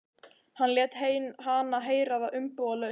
Hann lét hana heyra það umbúðalaust.